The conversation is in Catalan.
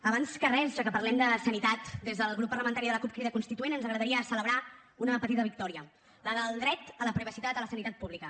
abans que res ja que parlem de sanitat des del grup parlamentari de la cup crida constituent ens agradaria celebrar una petita victòria la del dret a la privacitat a la sanitat pública